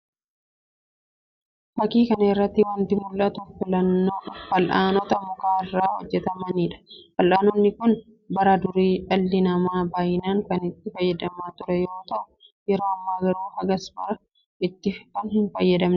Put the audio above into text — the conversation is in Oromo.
fakkii kana irratti wanti mul'atu fal'aanota muka irraa hojjetamanii dha. Fal'aanonni kun bara durii dhalli namaa baay'inaan kan itti fayyadamaa ture yeroo ta'u, yeroo ammaa garuu hagas mara itti hin fayyadaman.